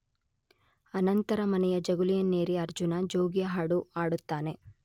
ಅನಂತರ ಮನೆಯ ಜಗುಲಿಯನ್ನೇರಿ ಅರ್ಜುನ ಜೋಗಿಯ ಹಾಡು ಹಾಡುತ್ತಾನೆ